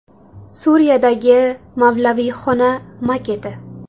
Suriyadagi mavlaviyxona maketi.